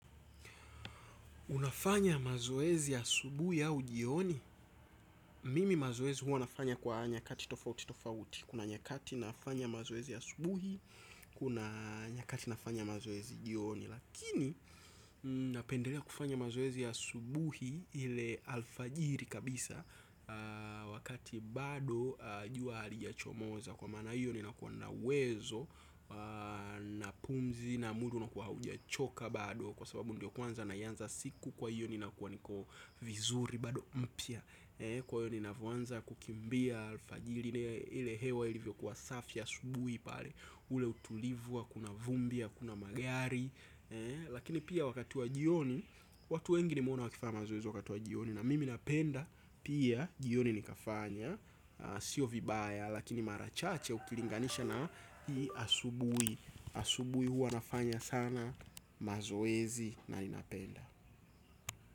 Unafanya mazoezi ya asubuhi au jioni? Mimi mazoezi huwa nafanya kwa nyakati tofauti tofauti. Kuna nyakati nafanya mazoezi ya subuhi, kuna nyakati nafanya mazoezi jioni. Lakini napendelea kufanya mazoezi asubuhi ile alfajiri kabisa. Wakati bado jua halijachomoza. Kwa maana hio ninakuwa na uwezo na pumzi na mwili unakuwa haujachoka bado. Kwa sababu ndio kwanza naianza siku kwa hiyo ninakuwa niko vizuri bado mpya. Kwa hio ninavyoanza kukimbia alfajiri ile hewa ilivyokuwa safi asubuhi pale, ule utulivu, hakuna vumbi, hakuna magari. Lakini pia wakati wa jioni, watu wengi nimewaona wakifaya mazoezi wakati wa jioni, na mimi napenda pia jioni nikafanya. Sio vibaya lakini mara chache ukilinganisha na hii asubuhi. Asubuhi huwa nafanya sana mazoezi na ninapenda.